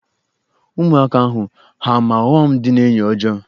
Ụmụaka ahụ ha-ama ọghọm dị n'enyi ọjọọ?